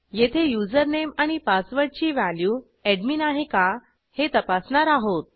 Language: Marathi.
येथे युजरनेम आणि पासवर्डची व्हॅल्यू एडमिन आहे का हे तपासणार आहोत